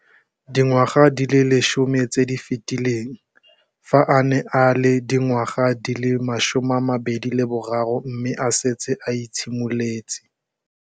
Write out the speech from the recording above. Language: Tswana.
Dingwaga di le 10 tse di fetileng, fa a ne a le dingwaga di le 23 mme a setse a itshimoletse